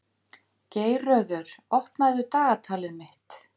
Geirröður, opnaðu dagatalið mitt.